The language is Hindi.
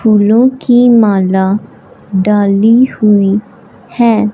फूलों की माला डाली हुई है।